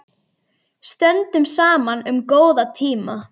Stöndum saman um góða tíma.